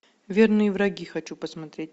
верные враги хочу посмотреть